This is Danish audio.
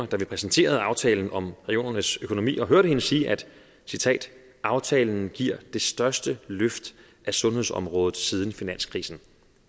da vi præsenterede aftalen om regionernes økonomi og hørte hende sige aftalen giver det største løft af sundhedsområdet siden finanskrisen